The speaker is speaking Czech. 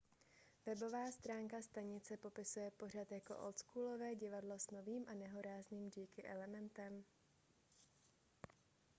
webová stránka stanice popisuje pořad jako oldschoolové divadlo s novým a nehorázným geeky elementem